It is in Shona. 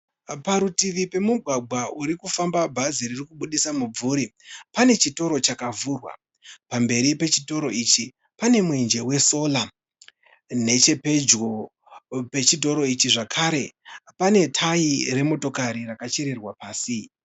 Parutivi pemugwagwa urikufamba bhazi ririkubuditsa mubvuri pane chitoro chakavhurwa. Pamberi pechitoro ichi pane mwenje we sola . Nechepedyo pechitoro ichi zvekare pane tayi remotokari rakachererwa pasí.